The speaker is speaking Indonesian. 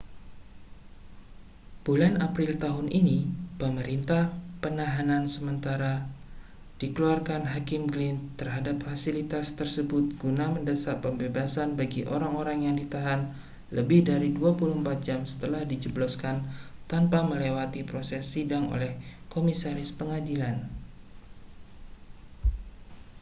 bulan april tahun ini perintah penahanan sementara dikeluarkan hakim glynn terhadap fasilitas tersebut guna mendesak pembebasan bagi orang-orang yang ditahan lebih dari 24 jam setelah dijebloskan tanpa melewati proses sidang oleh komisaris pengadilan